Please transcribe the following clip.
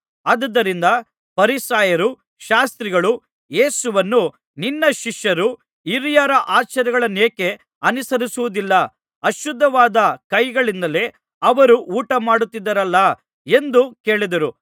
ಆದುದರಿಂದ ಫರಿಸಾಯರೂ ಶಾಸ್ತ್ರಿಗಳೂ ಯೇಸುವನ್ನು ನಿನ್ನ ಶಿಷ್ಯರು ಹಿರಿಯರ ಆಚಾರಗಳನ್ನೇಕೆ ಅನುಸರಿಸುವುದಿಲ್ಲ ಅಶುದ್ಧವಾದ ಕೈಗಳಿಂದಲೇ ಅವರು ಊಟಮಾಡುತ್ತಿದ್ದಾರಲ್ಲಾ ಎಂದು ಕೇಳಿದರು